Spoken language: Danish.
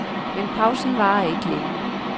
Men pausen varer ikke længe.